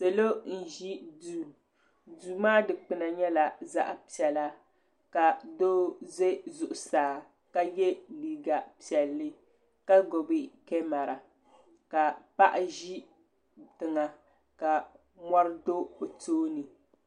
Salo n-ʒi duu duu maa dukpuna nyɛla zaɣ'piɛla ka doo ʒe zuɣusaa ka ye liiga piɛlli ka gbubi kamara ka paɣa ʒi tiŋa ka mɔri do o tooni.